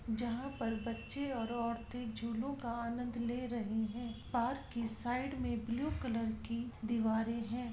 जहाँ पर बच्चे और औरते झूलो का आनन्द ले रही हे पार्क की साइड में ब्लू कलर की दीवारे हे।